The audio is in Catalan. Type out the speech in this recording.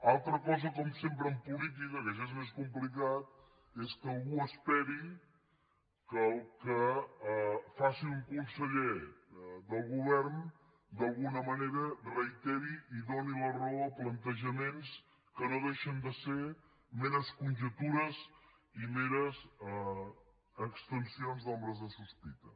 altra cosa com sempre en política que això és més complicat és que algú esperi que el que faci un conseller del govern d’alguna manera reiteri i doni la raó a plantejaments que no deixen de ser meres conjectures i meres extensions d’ombres de sospita